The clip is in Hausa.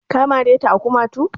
Ka mare ta a kumatu?